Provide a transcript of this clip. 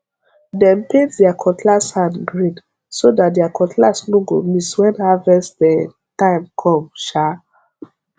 dem paint there cutlass hand green so that their cutlass no go miss when harvest um time come um